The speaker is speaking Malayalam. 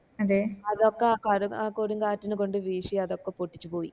അതെ അതൊക്ക കട കൊടുംകാറ്റ്ന് കൊണ്ട് വീശി അതൊക്കെ പൊട്ടിച്ച് പോയി